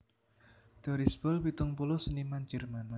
Doris Boll pitung puluh seniman Jerman